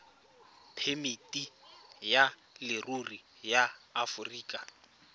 phemiti ya leruri ya aforika